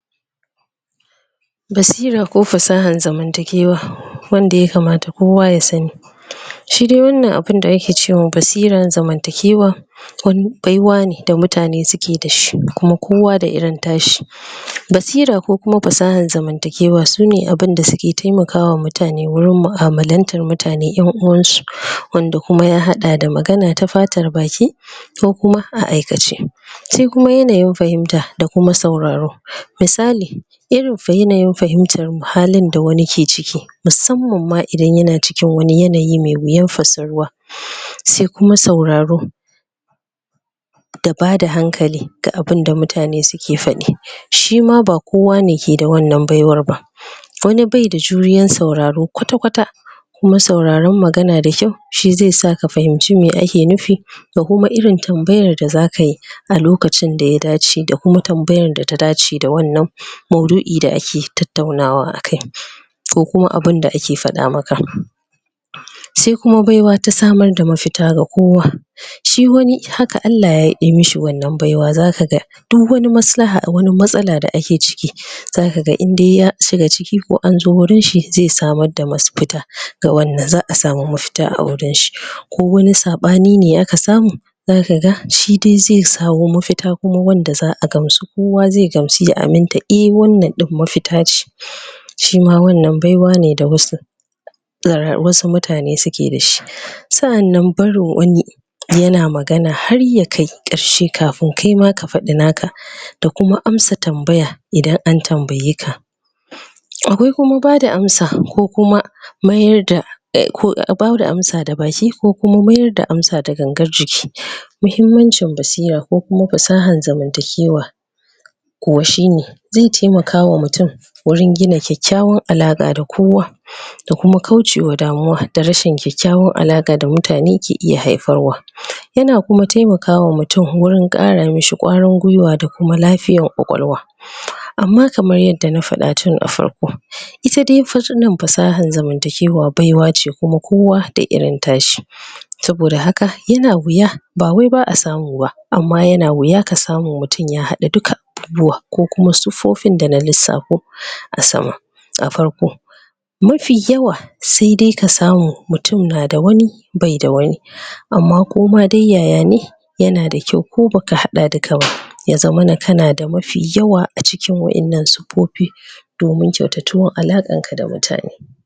Basira ko fasahan zamantakewa wannan ya kamata kowa ya sani shine wannan abun da ake ce ma basiran zamantakewa baiwar ne da mutane suke da shi kuma kowa da irin nashi basira ko kuma fasahan zamantakewa sune abunda suke taimakawa mutane wurin mu'amalantar mutane ƴan uwansu wanda kuma ya haɗa da magana ta fatar baki ko kuma a aikace sai kuma yanayin fahimta da kuma sauraro misali irin fa yanayin fahimtar halin da wani ke ciki musamman ma idan yana cikin wani yanayi mai wuyan fassaruwa sai kuma sauraro da bada hankali da abunda mutane suke faɗi shima ba kowa ne ke da wannan baiwar ba wani bai da juriyar sauraro kwata-kwata kuma sauraron magana da kyau shi sai sa ka fahimci abunda ake nufi ko kuma irin tambayan da zaka yi a lokacin da ya dace da kuma tambayar da ta dace da wannan maudu'i da ake tattaunawa a kai ko kuma abunda ake faɗa maka sai kuma baiwa ta samar da mafita ga kowa shi wani haka Allah yayi mashi wannan baiwa za ka ga duk wani maslaha a wani matsala da ake ciki zaka ga in dai ya shiga ciki ko an je wurinshi zai samar da mafita ga wanda za a samu mafita a wurinshi ko wani saɓani ne aka samu zaka ga shi dai zai samo mafita kuma wanda za a gamsu kowa zai gamsu ya aminta eh wannan mafita ce shima wannan baiwa ne da wasu da wasu mutane suke da shi sa'annan barin wani yana magana har ya kai ƙarshe kafin kaima ka faɗi naka da kuma amsa tambaya idan an tambaye ka akwai kuma bada amsa ko kuma mayar da ko kuma bada amsa da baki ko kuma mayar da amsa da gangar jiki muhimmancin basira ko kuma fasahan zamantakewa kuwa shine zai taimakawa mutum wurin gina kyakkyawar alaƙa da kowa da kuma kaucewa damuwa da rashin kyakkyawan alaƙa da mutane ke iya haifarwa yana kuma taimakawa mutum wurin ƙara mishi ƙwarin gwiwa da kuma lafiyan ƙwaƙwalwa amma kaman yadda na faɗa tun a farko ita dai? fasahan zamantakewa baiwa ce kuma kowa da irin tashi saboda haka yana wuya ba wai ba a samu ba amma yana wuya ka samu mutum ya haɗa dukka abubuwa ko kuma siffofin da na lissafo a sama a farko mafi yawa sai dai ka samu mutum na da wani bai a wani amma koma dai yaya ne yana da kyau ko baka haɗa dukka ba ya zamana kana da mafi yawa a cikin wa'innan siffofi